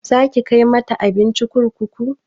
Zaki kai mata abinci kurkuku?